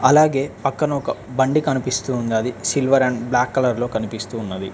అలాగే పక్కన ఒక బండి కనిపిస్తూవుందది సిల్వర్ అండ్ బ్లాక్ కలర్ లో కనిపిస్తున్నది.